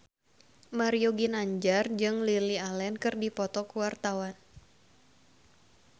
Mario Ginanjar jeung Lily Allen keur dipoto ku wartawan